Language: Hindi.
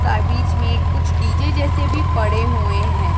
सा बीच में कुछ डी_जे जैसे भी पड़े हुए हैं।